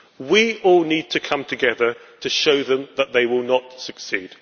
We all need to come together to show them that they will not succeed.